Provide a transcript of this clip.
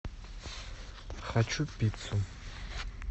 хочу пиццу